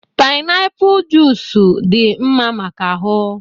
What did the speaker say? painiapulu junic dị mma maka ahụ